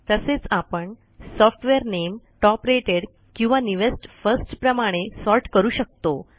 तसेच आपण सॉफ्टवेअर नामे टॉप रेटेड किंवा न्यूवेस्ट फर्स्ट प्रमाणे सॉर्ट करू शकतो